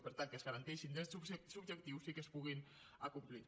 per tant que es garanteixin drets subjectius i que es puguin acomplir